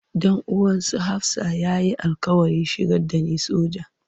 Dan uwan su Hafsah ya yi alƙawarin shigar da ni soja.